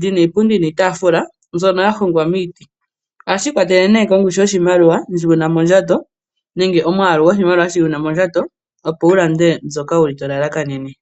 li na iipundi niitaafula mbyono ya hongwa miiti. Ohashi ikwatelele kongushu yoshimaliwa ndji wu na mondjato nenge omwaalu goshimaliwa shi wu na mondjato, opo wu lande mbyoka to lalakanene.